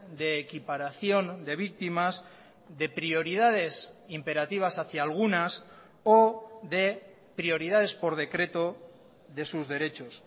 de equiparación de víctimas de prioridades imperativas hacia algunas o de prioridades por decreto de sus derechos